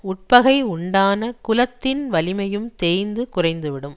உட்பகை உண்டான குலத்தின் வலிமையும் தேய்ந்து குறைந்து விடும்